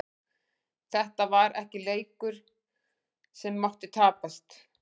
Þetta var ekki leikur sem mátti tapast.